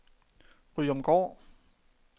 Ryomgård